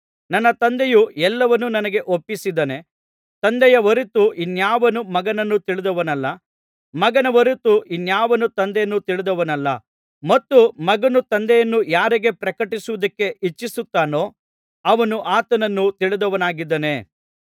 ನನ್ನ ತಂದೆಯು ಎಲ್ಲವನ್ನು ನನಗೆ ಒಪ್ಪಿಸಿದ್ದಾನೆ ತಂದೆಯ ಹೊರತು ಇನ್ನಾವನೂ ಮಗನನ್ನು ತಿಳಿದವನಲ್ಲ ಮಗನ ಹೊರತು ಇನ್ನಾವನೂ ತಂದೆಯನ್ನು ತಿಳಿದವನಲ್ಲ ಮತ್ತು ಮಗನು ತಂದೆಯನ್ನು ಯಾರಿಗೆ ಪ್ರಕಟಪಡಿಸುವುದಕ್ಕೆ ಇಚ್ಛಿಸುತ್ತಾನೋ ಅವನು ಆತನನ್ನು ತಿಳಿದವನಾಗಿದ್ದಾನೆ